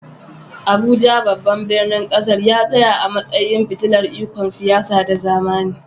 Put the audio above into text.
Abuja, babban birnin ƙasar, ya tsaya a matsayin fitilar ikon siyasa da zamani.